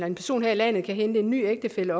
en person her i landet kan hente en ny ægtefælle